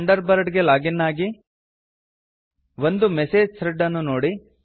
thunder bird ಗೆ log in ಆಗಿ ಒಂದು ಮೆಸೇಜ್ ಥ್ರೆಡ್ ಅನ್ನು ನೋಡಿ